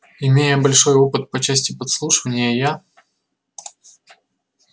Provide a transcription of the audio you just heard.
имея большой опыт по части подслушивания я